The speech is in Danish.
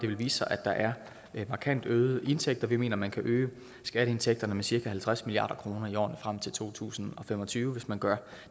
vil vise sig at der er markant øgede indtægter vi mener at man kan øge skatteindtægterne med cirka halvtreds milliard kroner i årene frem til to tusind og fem og tyve hvis man gør